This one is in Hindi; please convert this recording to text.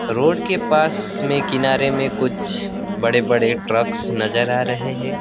रोड के पास में किनारे में कुछ बड़े बड़े ट्रक्स नजर आ रहे हैं।